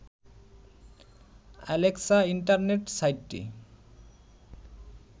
Alexa internet সাইটটি